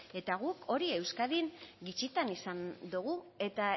eta guk hori euskadi gutxitan izan dugu eta